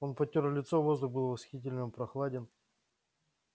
он потёр лицо воздух был восхитительно прохладен